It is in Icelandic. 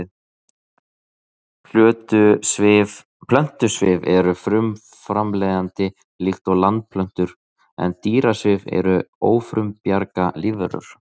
Plöntusvif er frumframleiðandi líkt og landplöntur en dýrasvif eru ófrumbjarga lífverur.